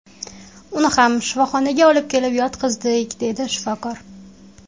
Uni ham shifoxonaga olib kelib yotqizdik”, deydi shifokor.